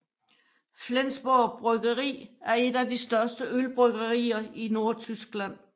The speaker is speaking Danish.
Flensborg Bryggeri er et af de største ølbryggerier i Nordtyskland